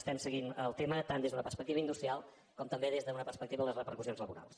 estem seguint el tema tant des d’una perspectiva industrial com també des d’una perspectiva de les repercussions laborals